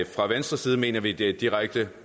fra venstres side mener vi det er direkte